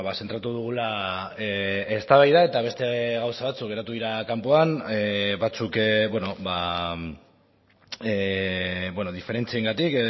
zentratu dugula eztabaida eta beste gauza batzuk geratu dira kanpoan batzuk diferentziengatik